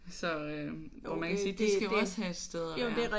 Så øh jo man kan sige de skal jo også have et sted at være